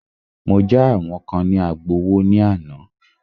Mọ já àwọn kán ní Agbowó ní àná.